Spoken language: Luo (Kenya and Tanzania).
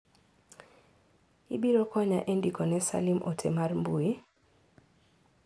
Ibiro konya e ndiko ne Salim ote mar mbui?